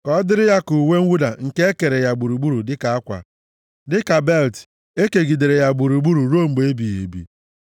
Ka ọ dịịrị ya ka uwe mwụda nke e kere ya gburugburu dịka akwa, dịka belịt e kegidere ya gburugburu ruo mgbe ebighị ebi.